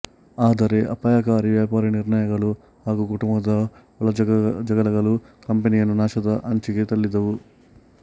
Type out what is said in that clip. ಆದರೆ ಅಪಾಯಕಾರಿ ವ್ಯಾಪಾರಿ ನಿರ್ಣಯಗಳು ಹಾಗೂ ಕುಟುಂಬದ ಒಳಜಗಳಗಳು ಕಂಪನಿಯನ್ನು ನಾಶದ ಅಂಚಿಗೆ ತಳ್ಳಿದವು